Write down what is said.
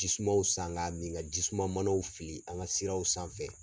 Jisumaw san ka min ka jisuma manaw fili an ka siraw sanfɛ.